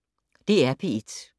DR P1